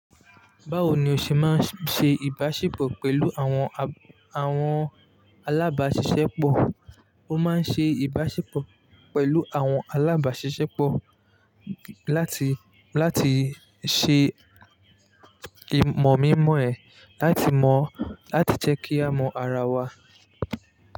Báwo ni o ṣe máa ń ṣe ìbáṣepọ̀ pẹ̀lú àwọn, àwọn alábáṣiṣẹ́pọ̀? Mo máa ń ṣe ìbáṣepọ̀ pẹ̀lú àwọn alábáṣiṣẹ́pọ̀ láti, láti ṣe ìmọ̀ mímọ ẹ̀, láti mọ̀, láti jẹ́ kí a mọ ara wa.